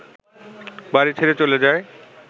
বাড়ি ছেড়ে চলে যায়